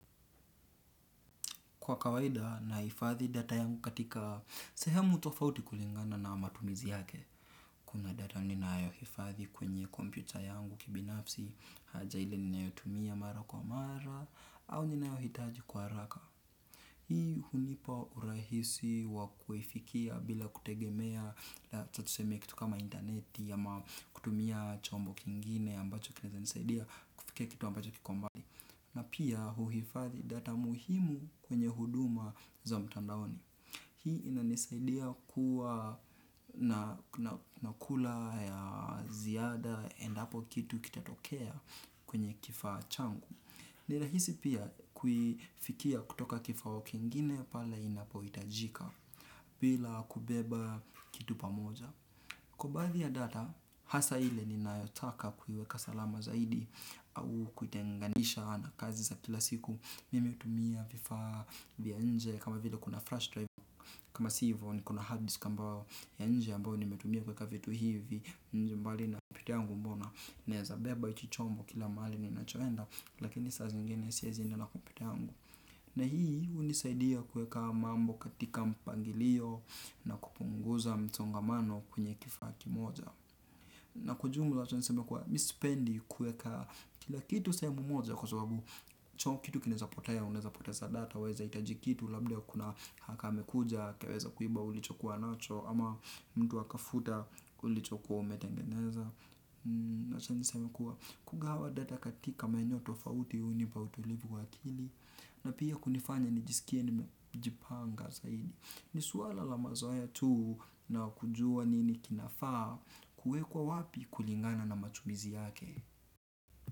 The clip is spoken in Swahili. Kwa kawaida na hifadhi data yangu katika sehemu tofauti kulingana na matumizi yake. Kuna data ninayo hifadhi kwenye kompyuta yangu kibinafsi, haja ile ninayo tumia mara kwa mara, au ninayo hitaji kwaha raka. Hii hunipa urahisi wa kuifikia bila kutegemea, tuseme kitu kama interneti, ama kutumia chombo kingine ambacho kinaweza nisaidia, kufikia kitu ambacho kikombali. Na pia huhifadhi data muhimu kwenye huduma za mtandaoni. Hii inanisaidia kuwa nakula ya ziada endapo kitu kitatokea kwenye kifaachangu. Nirahisi pia kuifikia kutoka kifaa kingine pale inapo hitajika bila kubeba kitu pamoja. Kwa baadhi ya data, hasa ile ni nayotaka kuiweka salama zaidi au kuitenganisha na kazi za kila siku. Mimi hutumia vifaa vya nje kama vile kuna flash drive, kama sivyo ni kona hard disk ambayo ya nje ambayo ni metumia kuweka vitu hivi. Njembali na pekeeyangu mbona, naweza beba hichichombo kila mahali ni nachoenda, lakini saa zingine siwe zie na kompyutayangu. Na hii hunisaidia kuweka mambo katika mpangilio na kupunguza msongamano kwenye kifaaki moja. Na kwaujumla tuseme kuwa mimisipendi kuweka kila kitu sehemu moja kwa sababu hicho kitu kinaweza potea unaweza poteza data. Waweza hitaji kitu labda kuna hakaame kuja akaweza kuiba ulichokuwa nacho ama mtu aka futa ulichokuwa umetengeneza. Na wachani seme kuwa kugawa data katika maeneoto fauti hunipautulivu wa akili. Na pia kunifanya nijisikie nimejipanga zaidi. Ni suala lamazoea tu na kujua nini kinafaa. Kue kwa wapi kulingana na matumizi yake.